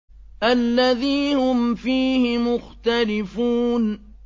الَّذِي هُمْ فِيهِ مُخْتَلِفُونَ